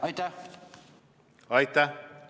Aitäh!